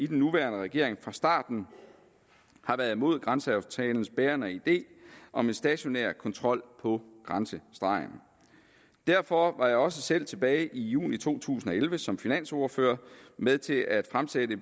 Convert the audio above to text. den nuværende regering fra starten har været imod grænseaftalens bærende idé om en stationær kontrol på grænsestregen derfor var jeg også selv tilbage i juni to tusind og elleve som finansordfører med til at fremsætte